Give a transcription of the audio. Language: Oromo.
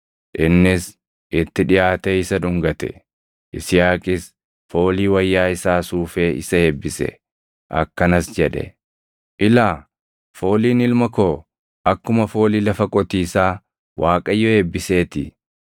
Innis itti dhiʼaatee isa dhungate. Yisihaaqis foolii wayyaa isaa suufee isa eebbise; akkanas jedhe; “Ilaa, fooliin ilma koo, akkuma foolii lafa qotiisaa Waaqayyo eebbisee ti.